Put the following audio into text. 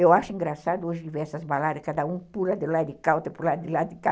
Eu acho engraçado hoje ver essas baladas, cada um pula de lado de cá, outro pula de lado de cá.